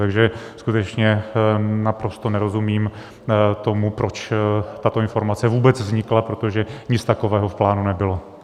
Takže skutečně naprosto nerozumím tomu, proč tato informace vůbec vznikla, protože nic takového v plánu nebylo.